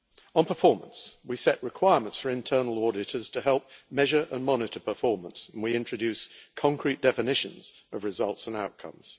On performance, we set requirements for internal auditors to help measure and monitor performance and we introduced concrete definitions of results and outcomes.